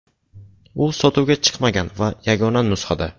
U sotuvga chiqmagan va yagona nusxada.